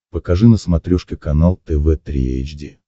покажи на смотрешке канал тв три эйч ди